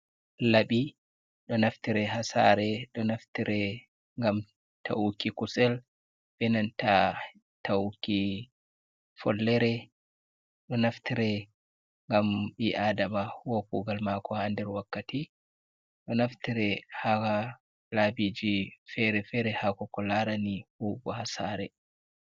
Labi ɗo naftire hasare, ɗo naftire ngam ta’uki kusel benanta tauki follere, ɗo naftire ngam bii aadama huwa kugal mako haa nder wakkati, ɗo naftire haa labiji fere-fere habo ko larani huwugo hasare.